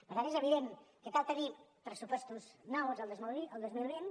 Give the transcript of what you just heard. per tant és evident que cal tenir pressupostos nous el dos mil vint